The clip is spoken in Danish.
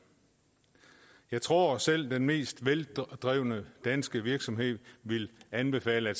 jeg tror at selv den mest veldrevne danske virksomhed vil anbefale at